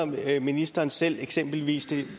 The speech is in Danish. ministeren selv eksempelvis det